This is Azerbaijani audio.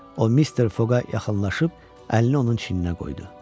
O Mister Foqa yaxınlaşıb əlini onun çininə qoydu.